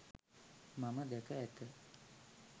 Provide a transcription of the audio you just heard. මම දැක ඇත